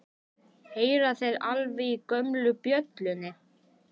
Heyra þeir alveg í gömlu bjöllunni?